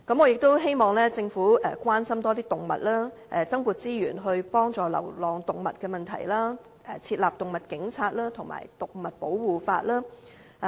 我也希望政府多關心動物，增撥資源幫助流浪動物的問題，設立動物警察和動物保護法。